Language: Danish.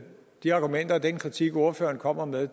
de argumenter og den kritik som ordføreren kommer med